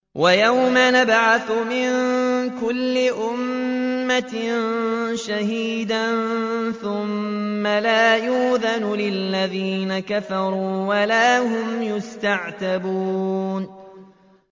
وَيَوْمَ نَبْعَثُ مِن كُلِّ أُمَّةٍ شَهِيدًا ثُمَّ لَا يُؤْذَنُ لِلَّذِينَ كَفَرُوا وَلَا هُمْ يُسْتَعْتَبُونَ